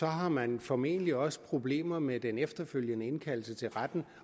har man formentlig også problemer med den efterfølgende indkaldelse til retten